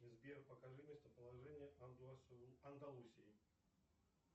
сбер покажи местоположение андалусии